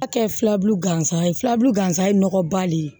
A kɛ filabulu gansan ye filaburu gansan ye nɔgɔ ba de ye